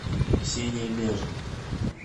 ксения межина